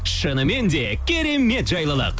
шынымен де керемет жайлылық